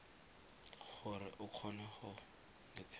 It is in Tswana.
gore a kgone go netefatsa